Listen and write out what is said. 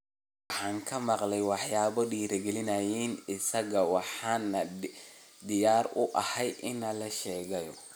Waxaan ka maqlay waxyaabo dhiirigelinaya isaga, waxaana diyaar u ahay inaan la shaqeeyo.